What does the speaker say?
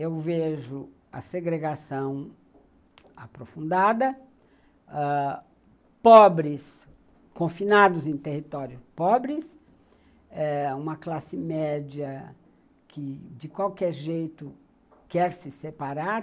Eu vejo a segregação aprofundada, pobres confinados em território, pobres eh uma classe média que, de qualquer jeito, quer se separar.